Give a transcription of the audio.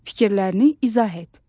Fikirlərini izah et.